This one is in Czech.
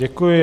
Děkuji.